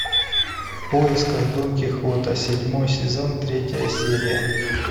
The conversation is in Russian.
в поисках дон кихота седьмой сезон третья серия